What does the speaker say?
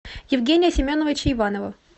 евгения семеновича иванова